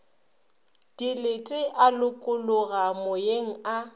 dilete a lokologa moyeng a